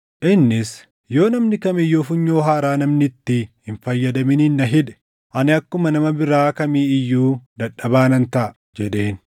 Innis, “Yoo namni kam iyyuu funyoo haaraa namni itti hin fayyadaminiin na hidhe, ani akkuma nama biraa kamii iyyuu dadhabaa nan taʼa” jedheen.